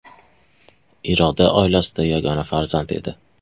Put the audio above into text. Iroda oilasida yagona farzand edi.